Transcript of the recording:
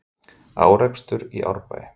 Árekstur í Árbæ